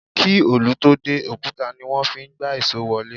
Kí òlù tó dé, òkúta ní wọ́n fí ń gbá ìṣó wọlé.